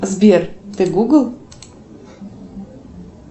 сбер ты гугл